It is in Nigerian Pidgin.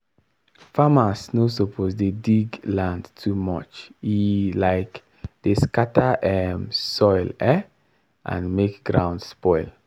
farmer no suppose dey dig land too much e um dey scatter um soil um and make ground spoil